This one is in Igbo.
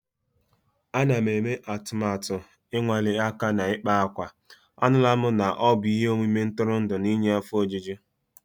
Ana m eme atụmatụ ịnwale aka m n'ịkpa akwa. Anụla m na ọ bụ ihe omume ntụrụndụ na-enye afọ ojuju.